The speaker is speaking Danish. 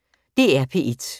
DR P1